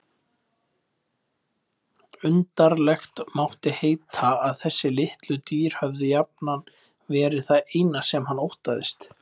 Undarlegt mátti heita að þessi litlu dýr höfðu jafnan verið það eina sem hann óttaðist.